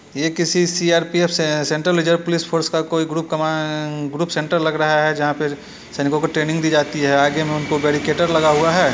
ये किसी सी.आर.पी.एफ. से सेंटर के जगह पुलिस फोर्स का कोई ग्रुप कमान ग्रुप सेंटर लग रहा है जहाँ पे सैनिकों को ट्रेनिंग दी जाती है आगे में उनको बैरिकेटर लगा हुआ है।